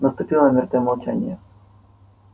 наступило мёртвое молчание